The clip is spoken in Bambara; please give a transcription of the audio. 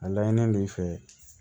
A laɲini b'i fɛ